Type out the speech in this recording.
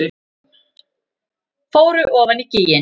Fóru ofan í gíginn